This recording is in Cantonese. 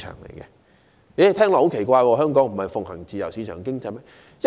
大家聽到便會感到很奇怪，香港不是奉行自由市場經濟嗎？